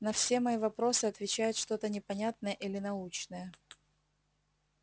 на все мои вопросы отвечает что-то непонятное или научное